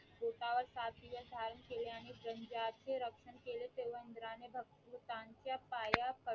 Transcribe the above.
बोटा वर सात दिवस धारण केले आणि व्रणधाचे रक्षण केले तेव्हा इंद्रा ने भक्तांच्या पाया पडून